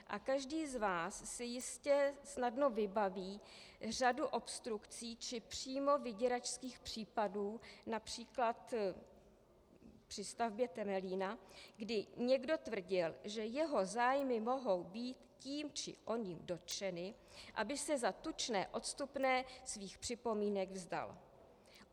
A každý z vás si jistě snadno vybaví řadu obstrukcí či přímo vyděračských případů, například při stavbě Temelína, kdy někdo tvrdil, že jeho zájmy mohou být tím či oním dotčeny, aby se za tučné odstupné svých připomínek vzdal.